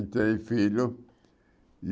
Três filhos.